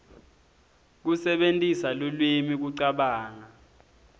kusebentisa lulwimi kucabanga